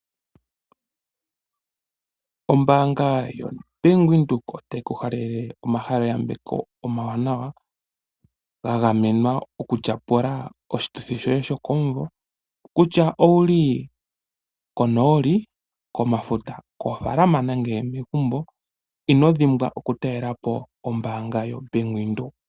Ombaanga yoBank Windhoek otayi ku halele omayambeko omawanawa ga gamenwa okutyapula oshituthi shoye sho koomvo kutya owuli konooli , komafuta, kofaalama nenge megumbo ino dhimbwaoku talela po ombaanga yoBank Windhoek.